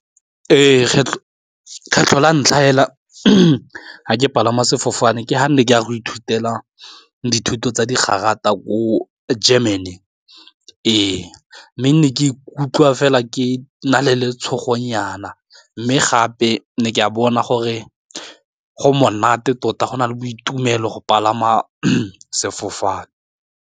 Ee, kgetlho la ntlha fela ga ke palama sefofane ke ga ke ne ke a go ithutela dithuto tsa di garata ko Germany ee, mme ke ne ke ikutlwa fela ke na le le tshogonyana mme gape ne ke a bona gore go monate tota go na le boitumelo go palama sefofane.